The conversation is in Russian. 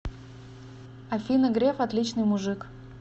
афина греф отличный мужик